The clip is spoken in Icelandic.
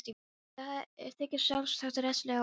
Þetta þykja sjálfsagt rekstrarlega óheppileg skrif.